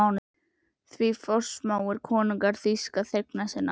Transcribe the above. Því forsmáir konungur þýska þegna sína?